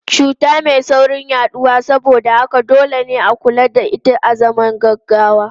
Cuta mai saurin yaduwa saboda haka dole ne a kula da ita azaman gaggawa.